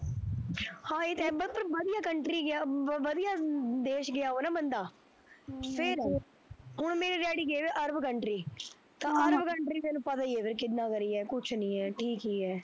ਹਾਂ ਏਹ ਤਾਂ ਹੈ ਪਰ ਵਧੀਆ country ਗਿਆ ਵਧੀਆ ਵਧੀਆ ਦੇਸ਼ ਗਿਆ ਹੋਵੇ ਨਾ ਬੰਦਾ ਹਮ ਫਿਰ, ਹੁਣ ਮੇਰੇ ਡੈਡੀ ਗਏ ਹੋਵੇ arab country, ਹਮ ਤਾਂ arab country ਤੇਨੂੰ ਪਤਾ ਈ ਐ ਫਿਰ ਕਿੰਦਾ ਕਰ ਆ ਕੁਛ ਨੀ ਐ ਠੀਕ ਈ ਐ